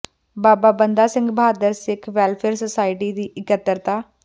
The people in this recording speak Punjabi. ਬਾਬਾ ਬੰਦਾ ਸਿੰਘ ਬਹਾਦਰ ਸਿੱਖ ਵੈੱਲਫੇਅਰ ਸੁਸਾਇਟੀ ਦੀ ਇਕੱਤਰਤਾ